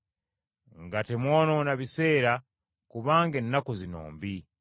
nga temwonoona biseera kubanga ennaku zino mbi.